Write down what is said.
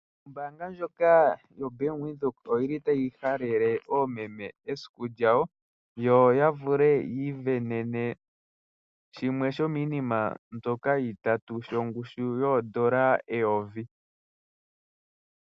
Ombaanga ndjoka yo bank Windhoek oyili tayi halele oomeme esiku lyawo, yo ya vule yiisindanene shimwe sho miinima mbyoka yili itatu shongushu yoondola eyovi.